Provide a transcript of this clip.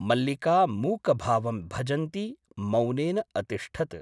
मल्लिका मूकभावं भजन्ती मौनेन अतिष्ठत् ।